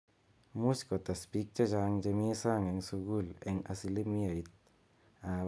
Much kotes pik chechang che mi sang ing sukul eng asilimiat ap 2%.